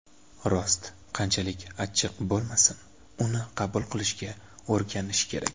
Rost qanchalik achchiq bo‘lmasin uni qabul qilishga o‘rganish kerak.